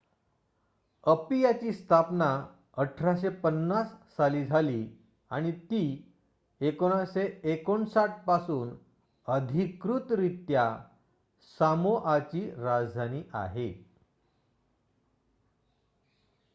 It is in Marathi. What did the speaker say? अपियाची स्थापना १८५० साली झाली आणि ती १९५९ पासून अधिकृतरित्या सामोआची राजधानी आहे